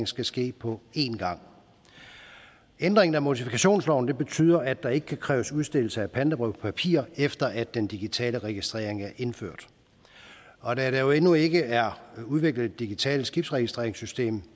skal ske på en gang ændringen af mortifikationsloven betyder at der ikke kan kræves udstedelse af pantebrevspapir efter at den digitale registrering er indført og da der jo endnu ikke er udviklet et digitalt skibsregistreringssystem